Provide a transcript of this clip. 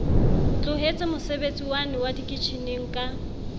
tlohetse mosebetsiwane wa dikitjheneng ka